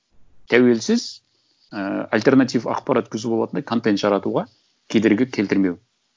тәуелсіз ііі альтернатив ақпарат көзі болатындай контент жаратуға кедергі келтірмеу